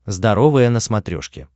здоровое на смотрешке